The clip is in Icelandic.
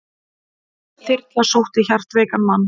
Þyrla sótti hjartveikan mann